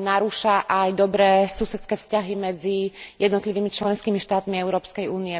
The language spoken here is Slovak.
narúša aj dobré susedské vzťahy medzi jednotlivými členskými štátmi Európskej únie.